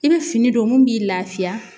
I bɛ fini don mun b'i lafiya